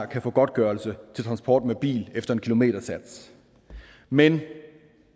kan få godtgørelse til transport med bil efter en kilometersats men